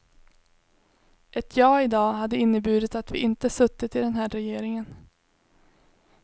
Ett ja i dag hade inneburit att vi inte suttit i den här regeringen.